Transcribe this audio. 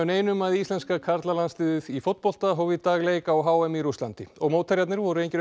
neinum að íslenska karlalandsliðið í fótbolta hóf í dag leik á h m í Rússlandi og mótherjarnir voru engir